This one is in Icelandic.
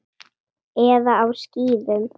Eða á skíðum.